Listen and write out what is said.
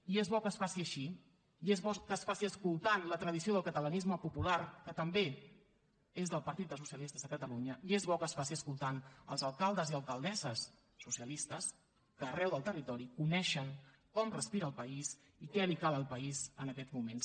i és bo que es faci així i és bo que es faci escoltant la tradició del catalanisme popular que també és del partit dels socialistes a catalunya i és bo que es faci escoltant els alcaldes i alcaldesses socialistes que arreu del territori coneixen com respira el país i què li cal al país en aquests moments